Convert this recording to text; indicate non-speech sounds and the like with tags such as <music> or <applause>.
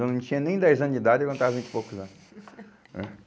Eu não tinha nem dez anos de idade e eu cantava há vinte e poucos anos, né. <laughs>